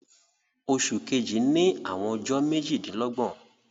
Òṣù kẹ̀jì ní àwọn ọjọ̀ méjìdínlọ́gbọ̀n